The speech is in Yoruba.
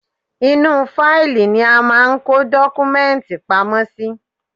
Inú u fáìlì ni a máa ń kó dọ́kúmẹ́ǹtì pamọ́ sí.